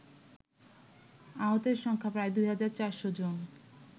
আহতের সংখ্যা প্রায় ২৪০০ জন